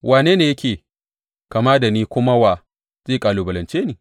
Wane ne yake kama da ni kuma wa zai kalubalance ni?